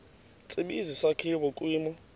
tsibizi sakhiwa kwimo